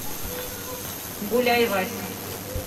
гуляй вася